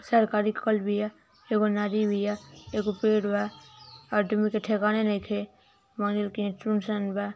सरकारी कल बिया एगो नदी बिया एगो पेड़ बा आदमी के ठिकाने नौईखे मंदिर के यहाँ सुन-सान बा।